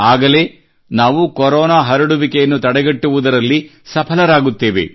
ಆಗಲೇ ನಾವು ಕೊರೊನಾ ಹರಡುವಿಕೆಯನ್ನು ತಡೆಗಟ್ಟುವುದರಲ್ಲಿ ಸಫಲರಾಗುತ್ತೇವೆ